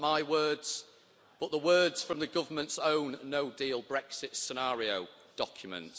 Not my words, but the words from the government's own no deal Brexit scenario document.